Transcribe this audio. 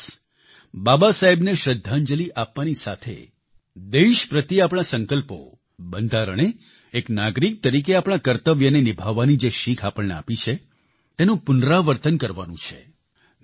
આ દિવસ બાબાસાહેબને શ્રદ્ધાંજલિ આપવાની સાથે દેશ પ્રત્યે આપણા સંકલ્પો બંધારણે એક નાગરિક તરીકે આપણા કર્તવ્યને નિભાવવાની જે શિખ આપણને આપી છે તેનું પુનરાવર્તન કરવાનું છે